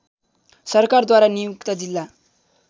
सरकारद्वारा नियुक्त जिल्ला